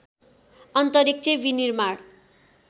अन्तरिक्ष विनिर्माण